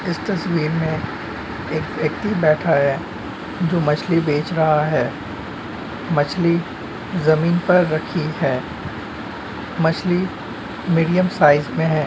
एक व्यक्ति बैठा है। दो मछली बेच रहा है। मछली जमीन पर रखी है। मछली मीडियम साइज में है।